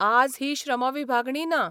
आज ही श्रमविभागणीं ना.